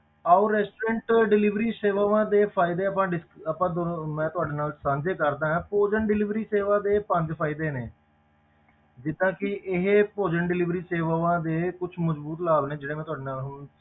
ਆਓ restaurant delivery ਸੇਵਾਵਾਂ ਦੇ ਫ਼ਾਇਦੇ ਆਪਾਂ ਡਿਸ~ ਆਪਾਂ ਦੋਨੋਂ ਮੈਂ ਤੁਹਾਡੇ ਨਾਲ ਸਾਂਝੇ ਕਰਦਾ ਹਾਂ ਭੋਜਨ delivery ਸੇਵਾ ਦੇ ਪੰਜ ਫ਼ਾਇਦੇ ਨੇ ਜਿੱਦਾਂ ਕਿ ਇਹ ਭੋਜਨ delivery ਸੇਵਾਵਾਂ ਦੇ ਕੁਛ ਮਜ਼ਬੂਤ ਲਾਭ ਨੇ ਜਿਹੜੇ ਮੈਂ ਤੁਹਾਡੇ ਨਾਲ ਹੁਣ